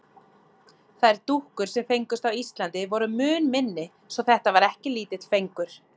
Þær dúkkur, sem fengust á Íslandi, voru mun minni svo þetta var ekki lítill fengur.